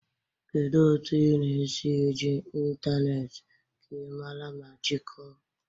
Kedu otu ị na-esi eji ịntanetị ka ị mara ma jikọọ?